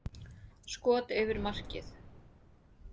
Skot yfir markið.